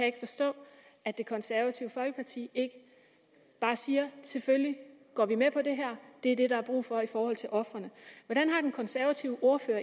ikke forstå at det konservative folkeparti ikke bare siger selvfølgelig går vi med på det her det er det der er brug for i forhold til ofrene hvordan har den konservative ordfører